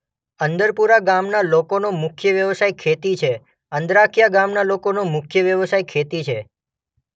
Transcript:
અંદરપુરા ગામના લોકોનો મુખ્ય વ્યવસાય ખેતી છે અંદ્રાખીયા ગામના લોકોનો મુખ્ય વ્યવસાય ખેતી છે.